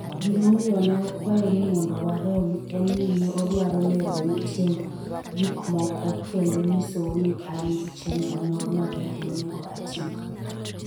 Gimomiyo ne akwayo ni mondo warom en ni ne adwaro leronu tiend gik moko kendo nyisou ni an gi chenro moro maber monego atigo.